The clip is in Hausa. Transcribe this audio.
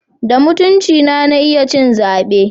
Da mutuncina na iya ci zabe.